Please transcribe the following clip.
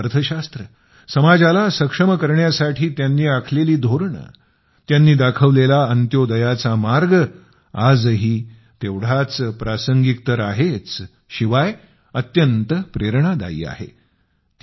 अर्थशास्त्र समाजाला सक्षम करण्यासाठी त्यांनी आखलेली धोरणे त्यांनी दाखवलेला अंत्योदयाचा मार्ग आजही तेवढाच प्रासंगिक तर आहेच शिवाय अत्यंत प्रेरणादायी देखील आहे